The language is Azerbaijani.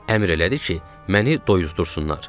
Əmr elədi ki, məni doyuzdursunlar.